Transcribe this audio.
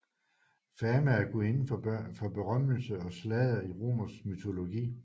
Fama er gudinden for berømmelse og sladder i romersk mytologi